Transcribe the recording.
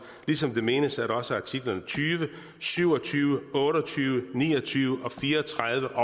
ligesom det menes at også artiklerne tyve syv og tyve otte og tyve ni og tyve og fire og tredive